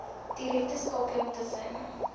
direkte skakeling tussen